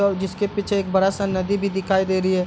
और जिसके पीछे एक बड़ा-सा नदी भी दिखाई दे रही है।